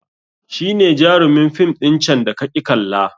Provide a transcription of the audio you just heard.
Shi ne jarumin fim ɗin can da kaƙi kalla